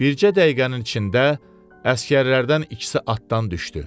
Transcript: Bircə dəqiqənin içində əsgərlərdən ikisi atdan düşdü.